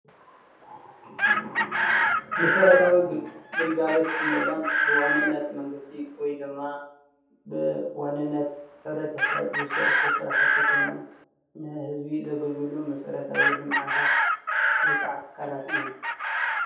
መሰርታዊ ግልጋሎት እንብሎም ብዋንነት መንግስቲ ወይ ድማ ብዋንነት ሕብረተሰብ ዝስርሑ ስራሕቲ ኮይኖም ንህዝቢ ዘገልግሉ መሰራታዊ ልምዓታት ወይ ከዓ ትካላት እዮም፡፡